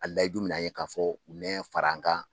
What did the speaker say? A layidu minɛ an ye k'a fɔ u nɛ fara an kan